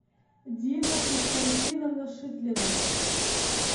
дина константиновна шитлина